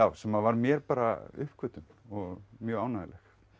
sem var mér bara uppgötvun og mjög ánægjuleg